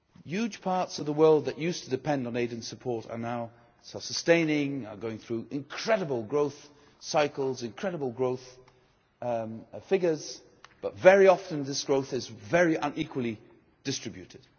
Huge parts of the world that used to depend on aid and support are now self sustaining, are going through incredible growth cycles, incredible growth figures, but very often this growth is very unequally distributed.